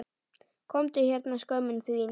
Komdu hérna skömmin þín!